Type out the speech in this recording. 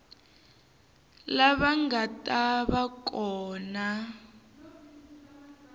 lava nga ta va kona